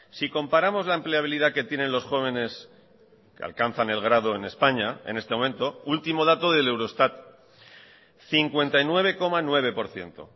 si comparamos la empleabilidad que tienen los jóvenes que alcanzan el grado en españa en este momento último dato del eurostat cincuenta y nueve coma nueve por ciento